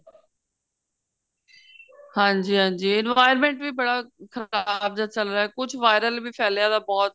ਹਾਂਜੀ ਹਾਂਜੀ environment ਵੀ ਬੜਾ ਖ਼ਰਾਬ ਜਾ ਚੱਲ ਰਿਹਾ ਕੁੱਝ viral ਵੀ ਫੈਲਿਆ ਬਹੁਤ